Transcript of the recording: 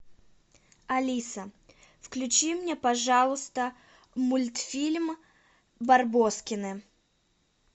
алиса включи мне пожалуйста мультфильм барбоскины